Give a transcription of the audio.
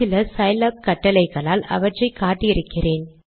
சில சிலாப் கட்டளைகளால் அவற்றை காட்டி இருக்கிறேன்